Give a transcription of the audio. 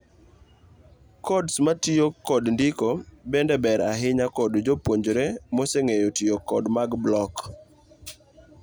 Codes matiyo kod ndiko bende ber ahinya kod jop[uonjre mose ng'eyo tiyo kod mag block.